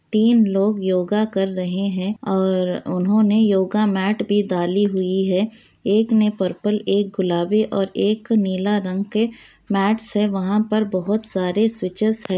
तीन लोग योगा कर रहे है और उन्होंने योगा मेट भी डाली हुई है एक ने पर्पल एक गुलाबी और एक नीला रंग के मेट्स है वहां पर बोहत सारे स्वीट्चस है।